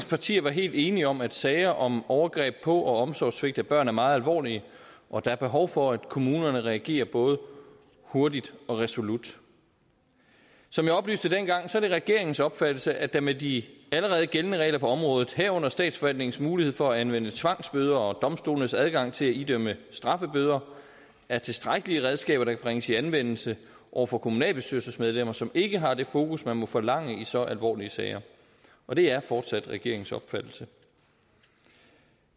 partier var helt enige om at sager om overgreb på og omsorgssvigt af børn er meget alvorlige og der er behov for at kommunerne reagerer både hurtigt og resolut som jeg oplyste dengang er det regeringens opfattelse at der med de allerede gældende regler på området herunder statsforvaltningens mulighed for at anvende tvangsbøder og domstolenes adgang til at idømme straffebøder er tilstrækkelige redskaber der kan bringes i anvendelse over for kommunalbestyrelsesmedlemmer som ikke har det fokus man må forlange i så alvorlige sager og det er fortsat regeringens opfattelse